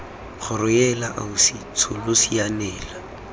kgoro heela ausi tsholo sianela